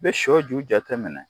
I bɛ sɔ ju jateminɛ